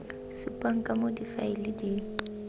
supang ka moo difaele di